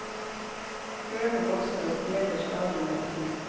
Køene vokser og stjeler stadig mer tid.